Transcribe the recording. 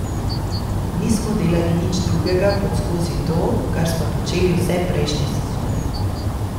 Nismo delali nič drugega kot skozi to, kar smo počeli vse prejšnje sezone.